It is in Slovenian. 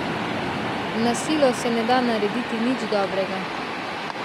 Na silo se ne da narediti nič dobrega.